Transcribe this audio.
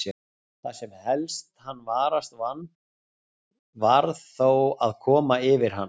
Það sem helst hann varast vann, varð þó að koma yfir hann.